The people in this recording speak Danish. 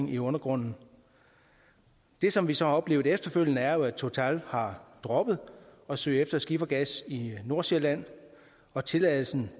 i undergrunden det som vi så har oplevet efterfølgende er jo at total har droppet at søge efter skifergas i nordsjælland og tilladelsen